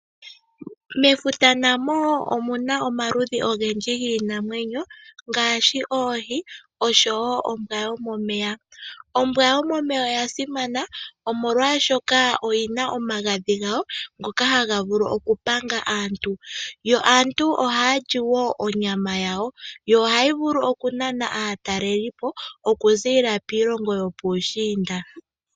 Mefuta namo wo omu na omaludhi giinamwenyo ngaashi oohi oshowo ombwa yomeya . Ombwa yomomeya oya simana, molwaashoka oyi na omagadhi gawo ngoka haga vulu okupanga aantu . Yo ohaya vulu okulya onyama yawo, yo ohayi vulu okunana aatalelipo okuziilila kiilongo yopuushiinda.